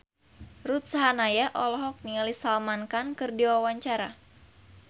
Ruth Sahanaya olohok ningali Salman Khan keur diwawancara